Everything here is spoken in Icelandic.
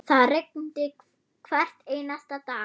Það rigndi hvern einasta dag.